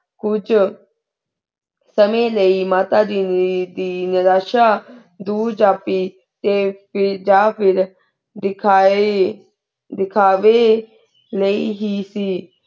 ਕੁਛ ਸੰਯੰ ਲੈ ਮਾਤਾ ਜੀ ਦੀ ਨਿਰਾਸ਼ਾ ਦੁਓਰ ਜਾਤੀ ਕੀ ਜਾ ਫੇਰ ਧੇਖਾਯ ਦੇਖਾਵ੍ਯ ਲੇਇ ਹੇ ਸੀ